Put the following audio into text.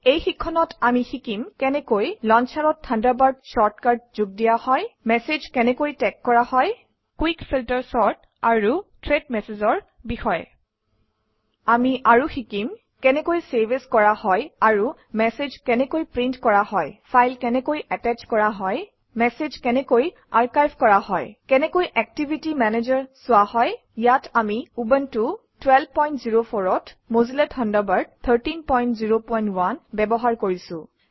এই শিক্ষণত আমি শিকিম কেনেকৈ লঞ্চাৰত থাণ্ডাৰবাৰ্ড শ্বৰ্টকাট যোগ দিয়া হয় মেচেজ কেনেকৈ টেগ কৰা হয় কুইক ফিল্টাৰ চৰ্ট আৰু থ্ৰেড Messages অৰ বিষয়ে আমি আৰু শিকিম কেনেকৈ চেভ এএছ কৰা হয় আৰু মেচেজ কেনেকৈ প্ৰিণ্ট কৰা হয় ফাইল কেনেকৈ এটাশ্ব কৰা হয় মেচেজ কেনেকৈ আৰ্কাইভ কৰা হয় কেনেকৈ একটিভিটি মেনেজাৰ চোৱা হয় ইয়াত আমি উবুনটো 1204 অত মজিল্লা থাণ্ডাৰবাৰ্ড 1301 ব্যৱহাৰ কৰিছোঁ